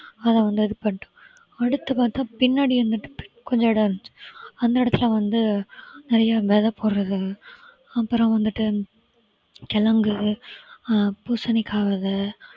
அதுல வந்து இது பண்ணிட்டோம் அடுத்து பார்த்தா பின்னாடி வந்துட்டு கொஞ்சம் இடம் இருந்துச்சு அந்த இடத்துல வந்து நிறைய விதை போடறது அப்புறம் வந்துட்டு கிழங்கு ஆஹ் பூசணிக்காய் விதை